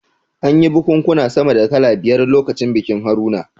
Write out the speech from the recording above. An yi bikunkuna sama da kala biyar lokacin bikin Haruna